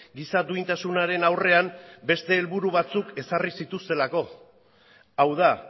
giza duintasunaren aurrean beste helburu batzuk ezarri zituztelako hau da